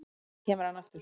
Síðan kemur hann aftur